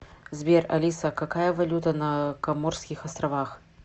сбер алиса какая валюта на коморских островах